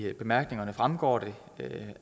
af bemærkningerne fremgår det